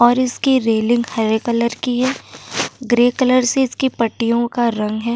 और इसकी रेलिंग हरे कलर की है। ग्रे कलर से इसकी पट्टियों का रंग है।